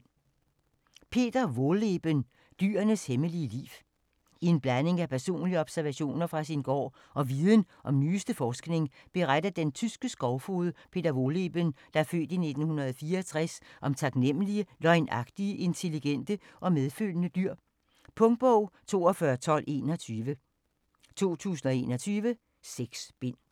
Wohlleben, Peter: Dyrenes hemmelige liv I en blanding af personlige observationer fra sin gård og viden fra den nyeste forskning, beretter den tyske skovfoged Peter Wohlleben (f. 1964) om taknemmelige, løgnagtige, intelligente og medfølende dyr. Punktbog 421221 2021. 6 bind.